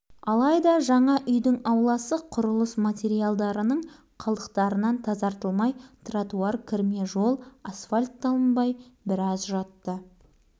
сөйтсе оның жөні бар екен құрылысшылар көктем шығуын күтіп жүріпті қар кетіп жер дегдісімен жаңа үй